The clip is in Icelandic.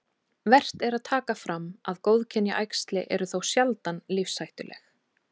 Vert er að taka fram að góðkynja æxli eru þó sjaldan lífshættuleg.